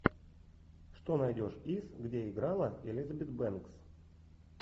что найдешь из где играла элизабет бэнкс